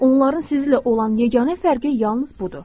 Onların sizlə olan yeganə fərqi yalnız budur.